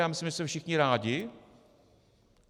Já myslím, že jsme všichni rádi.